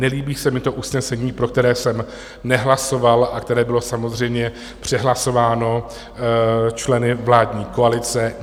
Nelíbí se mi to usnesení, pro které jsem nehlasoval a které bylo samozřejmě přehlasováno členy vládní koalice.